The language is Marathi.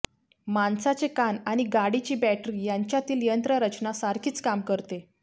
माणसाचे कान आणि गाडीची बॅटरी यांच्यातील यंत्ररचना सारखीच काम करते